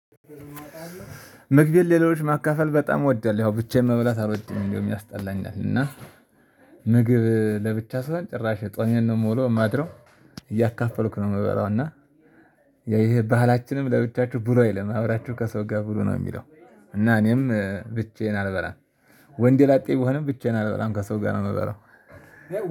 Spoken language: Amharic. ምግቤን ሌሎች ማካፈል በጣም ወደል ያው ብቻዬን መብላት አልወድም እንደውም ያስጠላኛል እና ምግብ ለብቻ ሲሆንን ጭራሽ ጾሜን ነው ምዉለው ማድረው እያካፈልኩ ነው የምበላው እና ይሄ ባህላችንም ለብቻችሁ ብሉ አይልም አብራችሁ ከሰው ጋር ብሩ ነው የሚለው እና እኔም ብቻዬን አልበላም ወንደ ላጤ ብሆንም ብቻዬን አልበራም ከሰው ጋር ነው የምበራው።